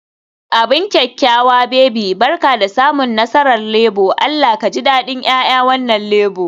Abin da kyakkyawa baby, Barka da samun nasarar Labour, Allah ka ji dadin 'ya'yan wannan Labour